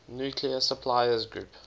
nuclear suppliers group